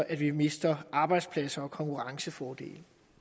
at vi mister arbejdspladser og konkurrencefordele